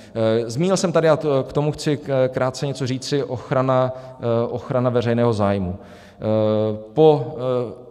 Zmínil jsem tady a k tomu chci krátce něco říci - ochrana veřejného zájmu.